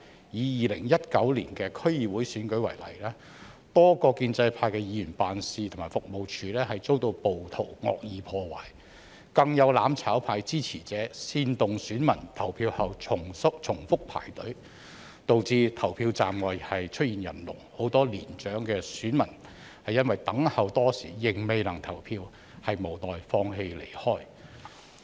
以2019年的區議會選舉為例，多個建制派的議員辦事和服務處遭暴徒惡意破壞；更有"攬炒派"支持者煽動選民投票後重複排隊，導致投票站外出現人龍，很多年長選民因等候多時仍未能投票，無奈放棄離開。